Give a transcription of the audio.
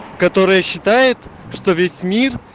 которая считает что весь мир